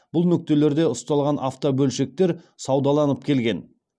бұл нүктелерде ұсталған автобөлшектер саудаланып келген